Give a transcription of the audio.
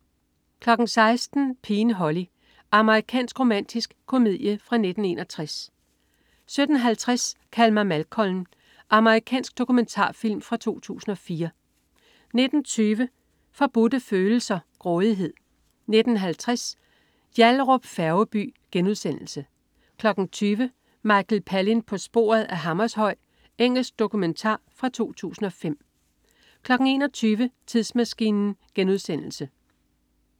16.00 Pigen Holly. Amerikansk romantisk komedie fra 1961 17.50 Kald mig Malcolm. Amerikansk dokumentarfilm fra 2004 19.20 Forbudte Følelser. Grådighed 19.50 Yallahrup Færgeby* 20.00 Michael Palin på sporet af Hammershøi. Engelsk dokumentar fra 2005 21.00 Tidsmaskinen*